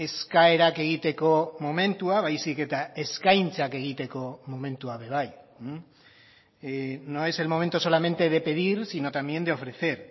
eskaerak egiteko momentua baizik eta eskaintzak egiteko momentua be bai no es el momento solamente de pedir sino también de ofrecer